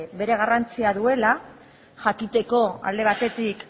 bere garrantzia duela jakiteko alde batetik